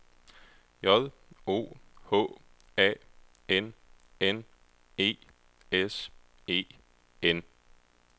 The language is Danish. J O H A N N E S E N